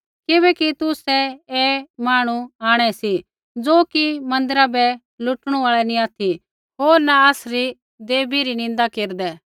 किबैकि तुसै ऐ मांहणु आंणै सी ज़ो कि मन्दिरा बै लूटणू आल़ै नी ऑथि होर न आसरी देवी री निन्दा केरदै